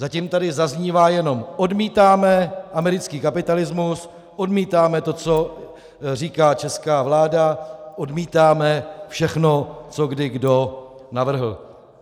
Zatím tady zaznívá jenom: odmítáme americký kapitalismus, odmítáme to, co říká česká vláda, odmítáme všechno, co kdo kdy navrhl.